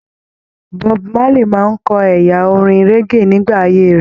Bob Marley máa n kọ ẹyà orin reggae nígbà ayé rẹ.